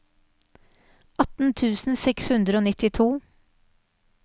atten tusen seks hundre og nittito